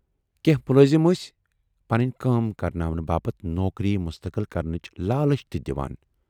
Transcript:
کینہہ مُلٲزِم ٲسۍ پنٕنۍ کٲم کرناونہٕ باپتھ نوکری مستقل کرنٕچ لالٕچ تہِ دِوان۔